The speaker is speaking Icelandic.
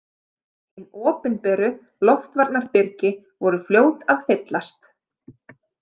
Hin opinberu loftvarnabyrgi voru fljót að fyllast.